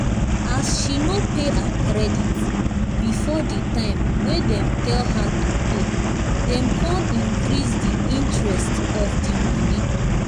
as she no pay her credit before di time wey dem tell her to pay dem come increase di interest of di money